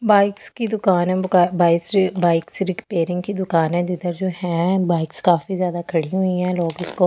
Bikes की दुकान है बो क बाइक्स बाइक्स रिपेयरिंग की दुकान है जिधर जो है बाइक्स काफी ज्यादा खड़ी हुई है लोग उसको ।